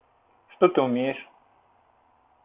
что ты умеешь